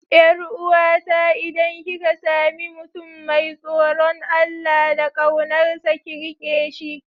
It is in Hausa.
Yar uwata idan kika sami mutum mai tsoron Allah da kaunarsa, ki rike shi.